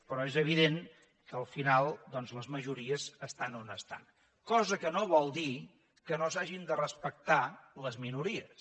però és evident que al final les majories estan on estan cosa que no vol dir que no s’hagin de respectar les minories